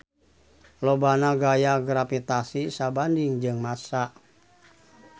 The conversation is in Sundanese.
Lobana gaya gravitasi sabanding jeung massa.